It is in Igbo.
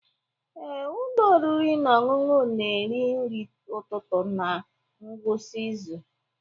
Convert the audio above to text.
Ee, ụlọ oriri na ọṅụṅụ na-eri nri ụtụtụ na ngwụsị izu.